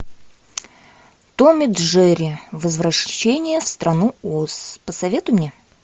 том и джерри возвращение в страну оз посоветуй мне